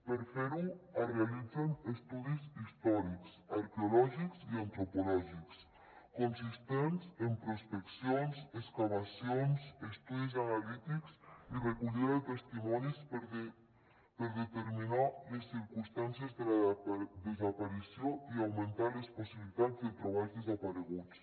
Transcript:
per fer ho es realitzen estudis històrics arqueològics i antropològics consistents en prospeccions excavacions estudis analítics i recollida de testimonis per determinar les circumstàncies de la desaparició i augmentar les possibilitats de trobar els desapareguts